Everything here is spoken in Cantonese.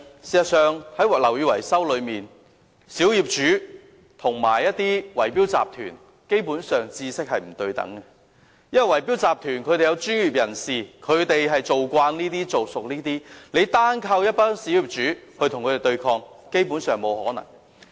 事實上，在樓宇維修方面，小業主和圍標集團的知識基本上是不對等的，因為圍標集團中有專業人士，他們相當熟悉這類工程，單靠小業主與他們對抗，基本上是沒有可能的。